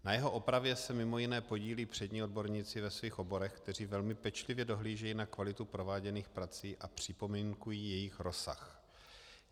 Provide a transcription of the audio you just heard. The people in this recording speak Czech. Na jeho opravě se mimo jiné podílí přední odborníci ve svých oborech, kteří velmi pečlivě dohlížejí na kvalitu prováděných prací a připomínkují jejich rozsah.